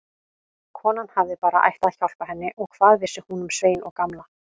Konan hafði bara ætlað að hjálpa henni og hvað vissi hún um Svein og Gamla.